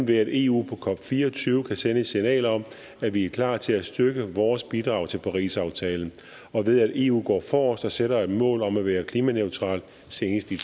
ved at eu på cop24 kan sende et signal om at vi er klar til at styrke vores bidrag til parisaftalen og ved at eu går forrest og sætter et mål om at være klimaneutral senest i